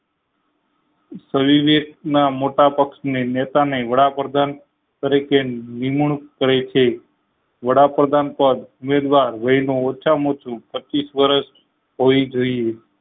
ના મોટા પક્ષ ને નેતા ને વડાપ્રધાન તરીકે નિમણુંક કરે છે વડાપ્રધાન પદ યોજવા વય ના ઓછા માં ઓછું પચીસ વર્ષ હોવી જોઈએ